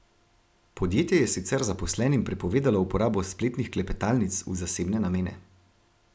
Podjetje je sicer zaposlenim prepovedalo uporabo spletnih klepetalnic v zasebne namene.